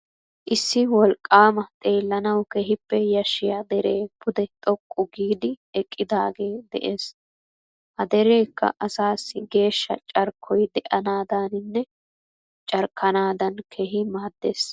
Issi wolqqaama xeellanawu keehippe yashshiya deree pude xoqqu giidi eqqidaagee de'ees. Ha derekka asaassi geeshsha carkkoy de'anaadaaninne carkkanaadan keehi maaddees.